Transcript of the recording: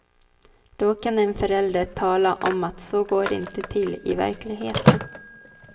Då kan en förälder tala om att så går det inte till i verkligheten.